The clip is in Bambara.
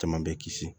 Caman bɛ kisi